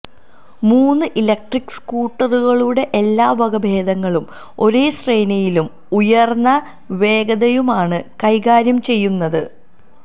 മൂന്ന് ഇലക്ട്രിക്ക് സ്കൂട്ടറുകളുടെ എല്ലാ വകഭേദങ്ങളും ഒരേ ശ്രേണിയിലും ഉയര്ന്ന വേഗതയുമാണ് കൈകാര്യം ചെയ്യുന്നത്